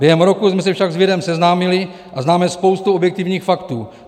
Během roku jsme se však s virem seznámili a známe spoustu objektivních faktů.